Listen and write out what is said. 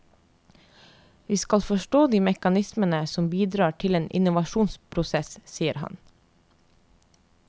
Vi skal forstå de mekanismene som bidrar til en innovasjonsprosess, sier han.